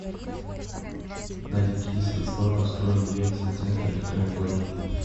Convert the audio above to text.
на какие средства построен ельцин центр и кто им владеет